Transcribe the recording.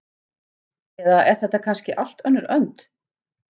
Eða er þetta kannski allt önnur önd?